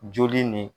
Joli nin